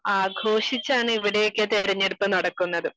ആഘോഷിച്ചാണ് ഇവിടെ ഒക്കെ തിരഞ്ഞെടുപ്പ് നടക്കുന്നത്